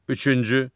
Üçüncü.